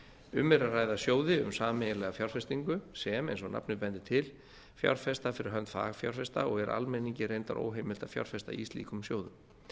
um er að ræða sjóði um sameiginlega fjárfestingu sem eins og nafnið bendir til fjárfesta fyrir hönd fagfjárfesta og er almenningi reyndar óheimilt að fjárfesta í slíkum sjóðum